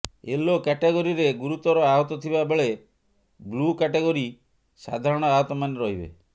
yellow କ୍ୟାଟେଗୋରୀରେ ଗୁରୁତର ଆହତଥିବା ବେଳେ ବ୍ଲୁ କ୍ୟାଟେଗୋରୀ ସାଧାରଣ ଆହତମାନେ ରହିବେ